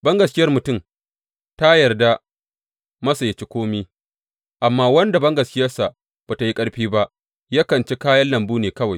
Bangaskiyar mutum ta yarda masa yă ci kome, amma wanda bangaskiyarsa ba tă yi ƙarfi ba, yakan ci kayan lambu ne kawai.